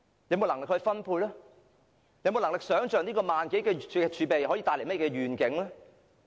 有沒有能力想象這一萬多億元的儲備可以帶來甚麼願景？